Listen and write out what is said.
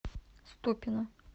ступино